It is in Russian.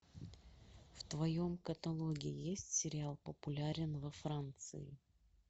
в твоем каталоге есть сериал популярен во франции